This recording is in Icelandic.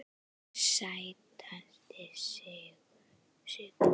Sætasti sigur?